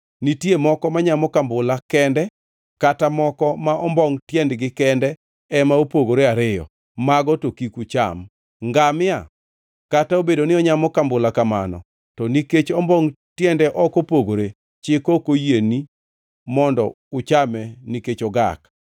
“ ‘Nitie moko manyamo kambula kende kata moko ma ombongʼ tiendegi kende ema opogore ariyo, mago to kik ucham. Ngamia kata obedo ni onyamo kambula kamano, to nikech ombongʼ tiende ok opogore, chik ok oyieni mondo uchame nikech ogak.